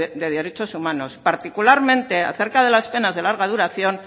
de derechos humanos particularmente acerca de las penas de larga duración